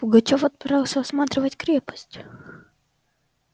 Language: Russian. пугачёв отправился осматривать крепость